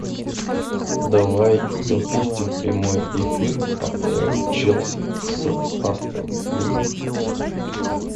давай запустим прямой эфир апл челси с астон виллой